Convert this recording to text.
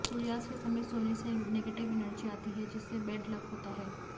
सूर्यास्त के समय सोने से नेगेटिव एनर्जी आती है जिससे बैड लक होता है